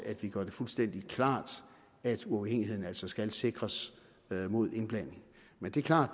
at vi gør det fuldstændig klart at uafhængigheden altså skal sikres mod indblanding men det er klart